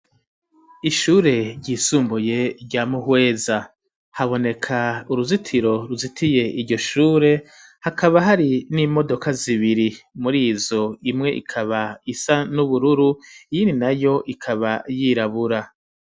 Ishure ryisumbuye rya mu Hweza haboneka uruzitiro ruzitiye iryo shure hakaba hari n'imodoka zibiri murizo imwe ikaba isa n'ubururu iyindi nayo ikaba yirabura